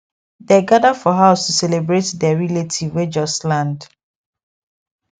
dey gather for house to celebrate der relative wey just land